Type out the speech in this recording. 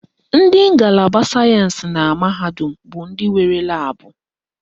Ndị ngalaba sayensị na mahadum bụ ndị nwere laabụ